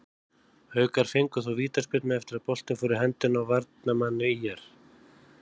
Haukar fengu þó vítaspyrnu eftir að boltinn fór í höndina á varnarmanni ÍR.